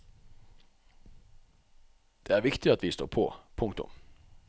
Det er viktig at vi står på. punktum